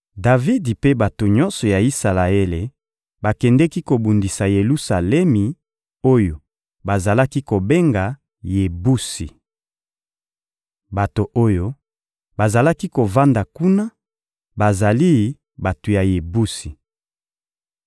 Davidi mpe bato nyonso ya Isalaele bakendeki kobundisa Yelusalemi oyo bazalaki kobenga «Yebusi.» Bato oyo bazalaki kovanda kuna bazali bato ya Yebusi.